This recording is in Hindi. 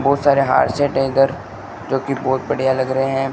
बहुत सारे हार सेट हैं इधर जो कि बहुत बढ़िया लग रहे हैं।